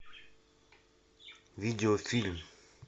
видеофильм